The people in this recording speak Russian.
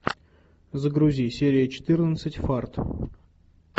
загрузи серия четырнадцать фарт